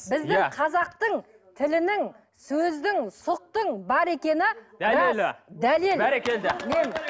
біздің қазақтың тілінің сөздің сұқтың бар дәлел бәрекелді